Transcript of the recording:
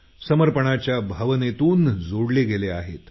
समर्पणाच्या भावनेतून जोडले गेले आहेत